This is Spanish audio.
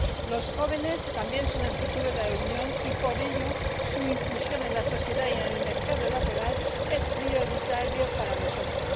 Los jóvenes también son el futuro de la Unión y, por ello, su inclusión en la sociedad y en el mercado laboral es prioritaria para nosotros.